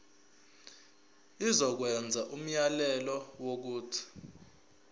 izokwenza umyalelo wokuthi